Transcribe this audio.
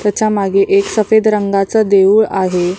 त्याच्यामागे एक सफेद रंगाच देऊळ आहे.